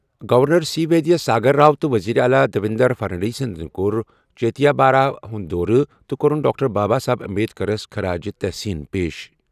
Governor C Vidyasagar Rao تہٕ وزیر اعلیٰ دیویندر فڈنویسن تہِ کوٚر چیتیا باہارمی ہُنٛد دورٕ تہٕ کوٚرُن ڈاکٹر بابا صاحب امبیڈکرَس خراج تحسین پیش ۔